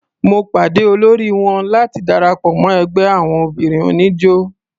Mo pàde olóri wọn láti darapọ̀ mọ́ ẹgbẹ́ àwon obìnrin oníjó.